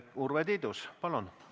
Urve Tiidus, palun!